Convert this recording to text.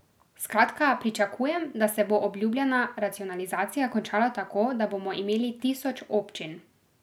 Skratka, pričakujem, da se bo obljubljena racionalizacija končala tako, da bomo imeli tisoč občin.